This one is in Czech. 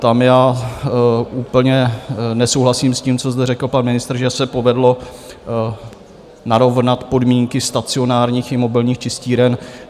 Tam já úplně nesouhlasím s tím, co zde řekl pan ministr, že se povedlo narovnat podmínky stacionárních i mobilních čistíren.